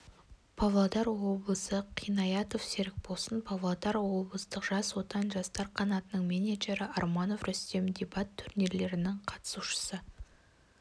павлодар облысы қинаятов серікболсын павлодар облыстық жас отан жастар қанатының менеджері арманов рүстем дебат турнирлерінің қатысушысы